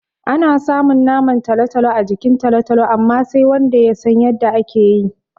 Ana samun man talo-talo a jikin talo-talo amma, sai wanda ya san yadda ake yi.